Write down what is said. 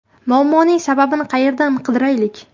Muammoning sababini qayerdan qidiraylik?